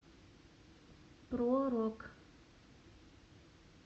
про рок